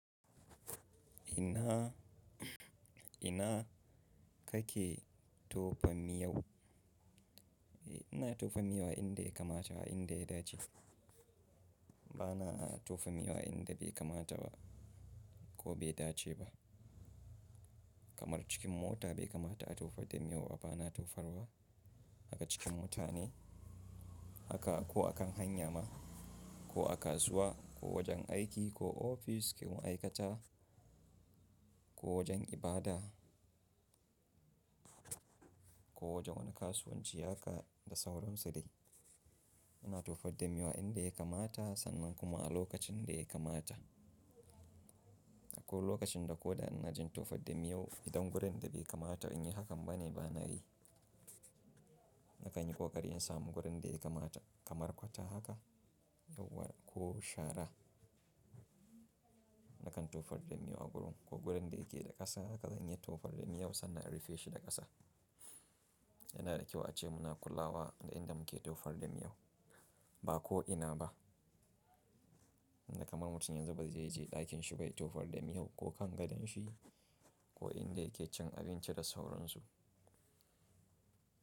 Ina, ina kake tofa miyau? Ina tofa miya inda ya kamata a inda ya dace. Bana tofa miyo a inda bai kamata ba, ko bai dace ba. Kamar cikin mota bai kamata a tofar da miyau ba, bana tofarwa. Aka cikin mutane, haka ko a kan hanya ma ko a kasuwa, ko wajen aiki ko ofis, ƙungiyar ma'aikata ko wajen ibada ko wajen wani kasuwanci haka, da sauran su dai. Ina tofar da miya inda ya kamata sannan kuma a lokacin da ya kamata. Akwai lokacin da ko da ina na jin tofar da miyau idan gurin da bai kamata in yi hakan ba ne bana yi. Nakan yi ƙoƙari in samu gurin da ya kamata kamar gutter haka ko shara. Nakan tofar da miya a gurin ko gurin da yake da ƙasa haka zan iya tofar da miyau sannan in rufe shi da ƙasa. Yana da kyau ace muna kulawa da inda muke tofar da miyau ba ko ina ba. Inda kamar mutum yanzu bazai je ɗakinshi bai tofar da miyau ko kan gadon shi, ko inda yake cin abinci da sauran su.